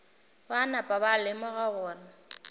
ba napa ba lemoga gore